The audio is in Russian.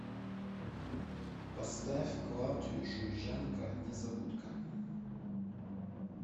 поставь клавдию шульженко незабудка